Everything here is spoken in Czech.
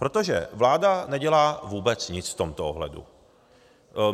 Protože vláda nedělá vůbec nic v tomto ohledu.